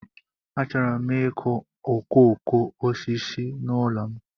Achọrọ m ịkụ okooko osisi n'ụlọ m.